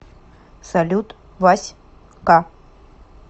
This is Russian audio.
салют вась ка